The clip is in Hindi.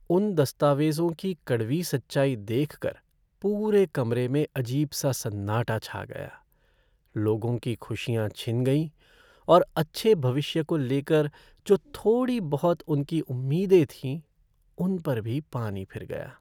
उन दस्तावेज़ों की कड़वी सच्चाई देखकर पूरे कमरे में अजीब सा सन्नाटा छा गया, लोगों की खुशियां छिन गईं और अच्छे भविष्य को लेकर जो थोड़ी बहुत उनकी उम्मीदें थीं उन पर भी पानी फिर गया।